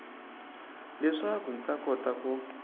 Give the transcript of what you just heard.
leswaku hi ta kota ku